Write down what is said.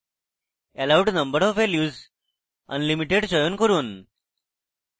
allowed number of values এ unlimited চয়ন করুন